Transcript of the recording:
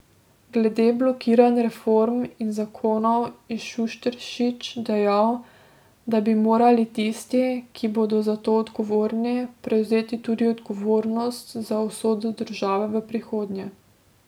Glede blokiranj reform in zakonov je Šušteršič dejal, da bi morali tisti, ki bodo za to odgovorni, prevzeti tudi odgovornost za usodo države v prihodnje.